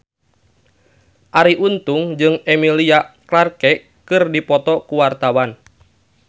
Arie Untung jeung Emilia Clarke keur dipoto ku wartawan